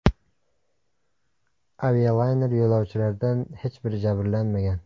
Avialayner yo‘lovchilaridan hech biri jabrlanmagan.